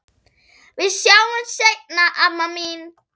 Við sjáumst seinna, amma mín.